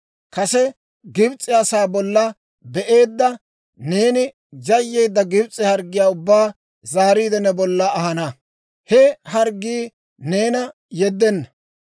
«Kase Gibs'e asaa bolla be'aade, neeni yayyeedda Gibs'e harggiyaa ubbaa zaariide, ne bolla ahana; he harggii neena yeddenna.